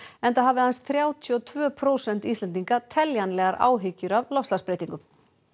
enda hafa aðeins þrjátíu og tvö prósent Íslendinga áhyggjur af loftslagsbreytingum